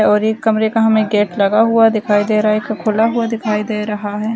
और एक कमरे का गेट हमे लगा हुआ दिखाई दे रहा है एक खुला हुआ दिखाई दे रहा है |